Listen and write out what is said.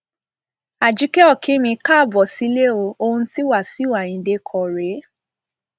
ajike òkín mi káàbọ sílẹ o ohun tí wàṣìù ayíǹde kọ rèé